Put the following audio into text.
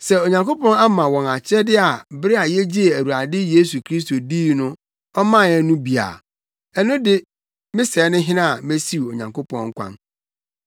Sɛ Onyankopɔn ama wɔn akyɛde a bere a yegyee Awurade Yesu Kristo dii no ɔmaa yɛn bi no a, ɛno de me sɛɛ ne hena a mesiw Onyankopɔn kwan.”